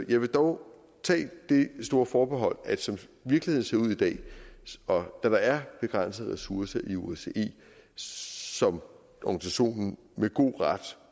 vil dog tage det store forbehold at som virkeligheden ser ud i dag og da der er begrænsede ressourcer i osce som organisationen med god ret